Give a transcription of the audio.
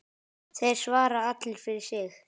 Þeir svara allir fyrir sig.